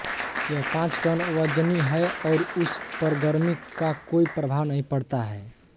यह पाँच टन वजनी है और उस पर गर्मी का कोई प्रभाव नहीं पड़ता है